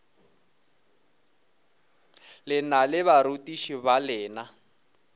lena le barutiši ba lena